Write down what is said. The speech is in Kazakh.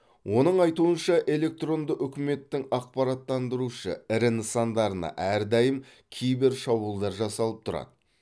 оның айтуынша электронды үкіметтің ақпараттандырушы ірі нысандарына әрдайым кибер шабуылдар жасалып тұрады